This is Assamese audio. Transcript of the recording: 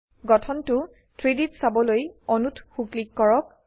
গঠনটো 3Dত চাবলৈ অণুত সো ক্লিক কৰক